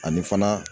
Ani fana